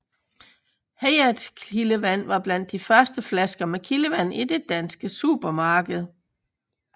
Hayat Kildevand var blandt de første flasker med kildevand i de danske supermarkeder